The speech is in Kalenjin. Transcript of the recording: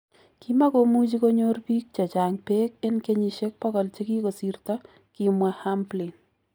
" Kimagomuchi konyor biik chechang beek en kenyisiek 100 chegigosirto. "Kimwaa Hamblin.